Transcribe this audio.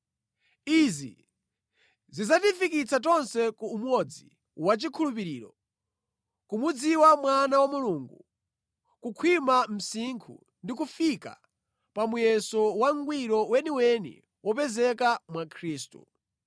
Izi zidzatifikitsa tonse ku umodzi wachikhulupiriro, kumudziwa Mwana wa Mulungu, kukhwima msinkhu ndi kufika pa muyeso wangwiro weniweni wopezeka mwa Khristu.